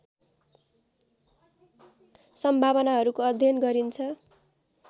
सम्भावनाहरूको अध्ययन गरिन्छ।